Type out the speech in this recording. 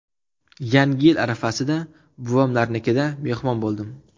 Yangi yil arafasida buvamlarnikida mehmon bo‘ldim.